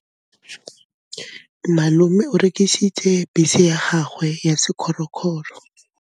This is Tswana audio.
Malome o rekisitse bese ya gagwe ya sekgorokgoro.